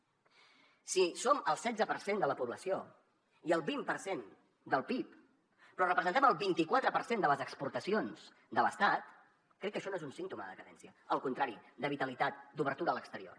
si som el setze per cent de la població i el vint per cent del pib però representem el vint i quatre per cent de les exportacions de l’estat crec que això no és un símptoma de decadència al contrari és de vitalitat d’obertura a l’exterior